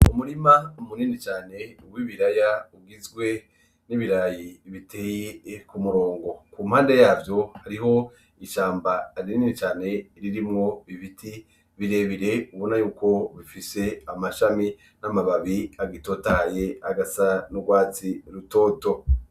Umurima munini cane w’ibirayi bigizwe biteye kumurongo impande yavyo, hariho ishamba rinini cane ririmwo ibiti birebire ubona yuko bifise amashami n’amababi agitotahaye agasa n’urwatsi rutoto.